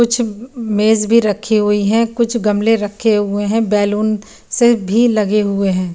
कुछ म मेज भी रखी हुई है कुछ गमले रखे हुए है बैलून से भी लगे हुए है।